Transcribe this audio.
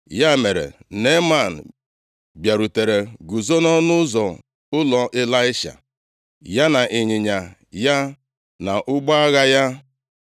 Ya mere, Neeman bịarutere guzo nʼọnụ ụzọ ụlọ Ịlaisha, ya na ịnyịnya ya, na ụgbọ agha ya.